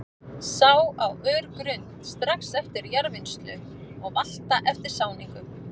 Sá á örgrunnt, strax eftir jarðvinnslu og valta eftir sáningu.